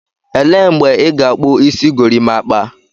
Elee mgbe ị ga-akpu isi gorimakpa?